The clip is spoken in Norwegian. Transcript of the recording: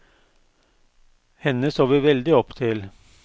Henne så vi veldig opp til.